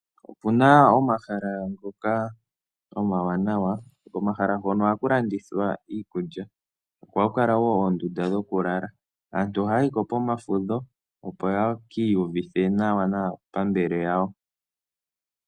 Okuna omahala ngoka omawanawa, komahala hono ohaku landithwa iikulya ko ohakukala woo oondunda dhoku lala. Aantu ohayayi ko pomafudho opo yeki iyuvithe nawa naapambele yawo.